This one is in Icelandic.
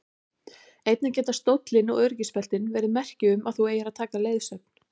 Einnig geta stóllinn og öryggisbeltin verið merki um að þú eigir að taka leiðsögn.